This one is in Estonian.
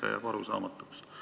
See jääb arusaamatuks.